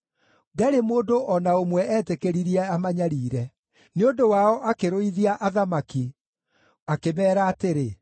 Ndarĩ mũndũ o na ũmwe eetĩkĩririe amanyariire; nĩ ũndũ wao akĩrũithia athamaki, akĩmeera atĩrĩ: